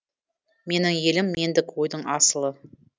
менің елім мендік ойдың асылы